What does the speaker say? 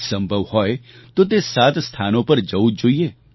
સંભવ હોય તો તે સાત સ્થાનો પર જવું જ જોઈએ